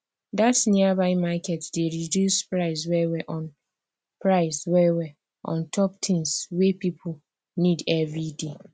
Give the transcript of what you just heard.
that nearby market dey reduce price wellwell on price wellwell on top things wey people need everyday